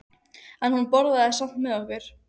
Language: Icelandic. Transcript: En hún borðaði samt með okkur.